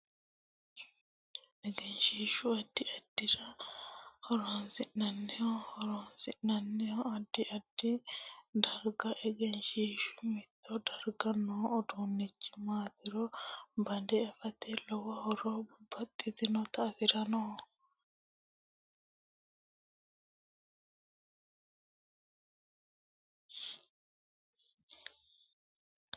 Egenshiishu addi addirira horonsinaniho horoonsinanihunno addi addi dargaati egenshiishu mitto darga noo uduunichi maatiro banda afata lowo horo babbaxitinota afironnoho